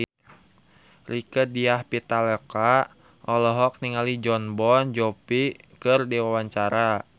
Rieke Diah Pitaloka olohok ningali Jon Bon Jovi keur diwawancara